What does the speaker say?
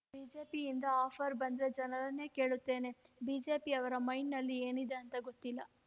ಬಿಜೆಪಿಯಿಂದ ಆಫರ್ ಬಂದ್ರೆ ಜನರನ್ನೇ ಕೇಳುತ್ತೇನೆ ಬಿಜೆಪಿಯವರ ಮೈಂಡ್‍ನಲ್ಲಿ ಏನಿದೆ ಅಂತ ಗೊತ್ತಿಲ್ಲ